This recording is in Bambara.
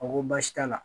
A ko baasi t'a la